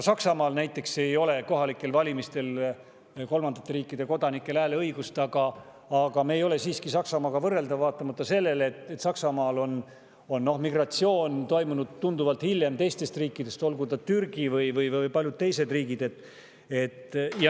Ka näiteks Saksamaal ei ole kolmandate riikide kodanikel kohalikel valimistel hääleõigust – aga me ei ole siiski Saksamaaga võrreldavad –, vaatamata sellele, et Saksamaal on toimunud migratsioon tunduvalt hiljem, olgu Türgist või paljudest teistest riikidest.